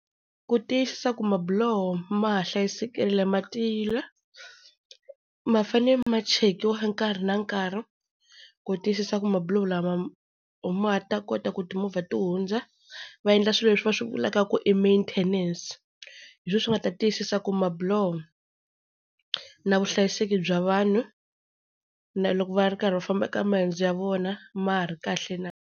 Ku tiyisisa ku mabiloho ma ha hlayisekile ma tiyile, ma fane ma chekiwa nkarhi na nkarhi ku tiyisisa ku mabiloho lama ma ha ta kota ku timovha ti hundza. Va endla swilo leswi va swi vulaka ku i maintenance hi swoho swi nga ta tiyisisa ku mabiloho na vuhlayiseki bya vanhu na loko va ri karhi va famba eka maendzo ya vona ma ha ri kahle na.